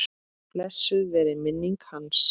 Blessuð veri minning hans.